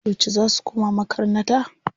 Yauce za su koma makarnata?